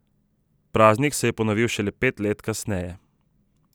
Praznik se je ponovil še pet let kasneje.